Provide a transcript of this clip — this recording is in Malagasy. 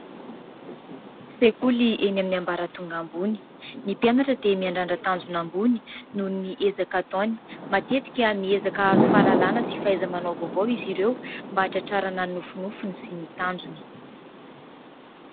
Sekoly eny amin'ny ambaratonga ambony: ny mpianatra dia miandrandra tanjona ambony noho ny ezaka ataony. Matetika miezaka hahazo fahalalàna sy fahaiza-manao vaovao izy ireo, mba hahatratrarana ny nofinofiny sy ny tanjony.